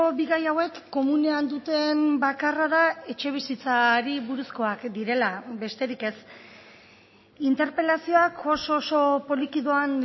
bi gai hauek komunean duten bakarra da etxebizitzari buruzkoak direla besterik ez interpelazioak oso oso poliki doan